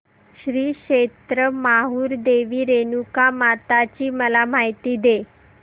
श्री क्षेत्र माहूर देवी रेणुकामाता ची मला माहिती दे